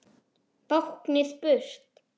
Báknið burt!